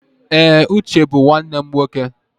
Ee, Uche bụ nwanne m nwoke.